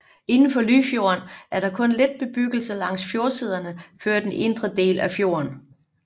Indenfor Lyfjorden er der kun lidt bebyggelse langs fjordsiderne før den indre del af fjorden